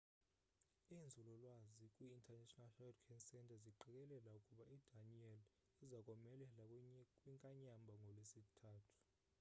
iinzulu lwazi kwi national hurricane centre ziqikelela ukuba idanielle iza komelela kwinkanyamba ngolwesithathu